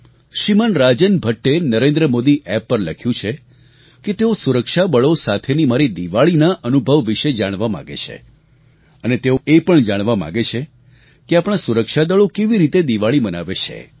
શ્રીમાન રાજન ભટ્ટે નરેન્દ્ર મોદી એપ પર લખ્યું છે કે તેઓ સુરક્ષાબળો સાથેની મારી દિવાળીનાં અનુભવ વિશે જાણવા માંગે છે અને તેઓ એ પણ જાણવા માગે છે કે આપણા સુરક્ષાદળો કેવી રીતે દિવાળી મનાવે છે